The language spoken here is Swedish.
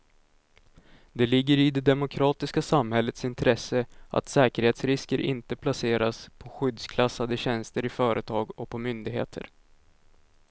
Det ligger i det demokratiska samhällets intresse att säkerhetsrisker inte placeras på skyddsklassade tjänster i företag och på myndigheter.